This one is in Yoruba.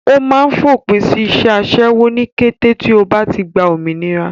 Ó máa fòpin sí iṣẹ́ aṣẹ́wó ní kété tí ó bá ti gba òmìnira.